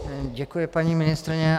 Děkuji, paní ministryně.